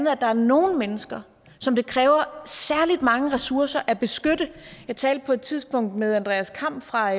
at der er nogle mennesker som det kræver særlig mange ressourcer at beskytte jeg talte på et tidspunkt med andreas kamm fra